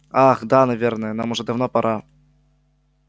ах да наверное нам уже давно пора